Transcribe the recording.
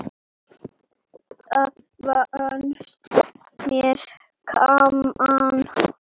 Það fannst mér gaman!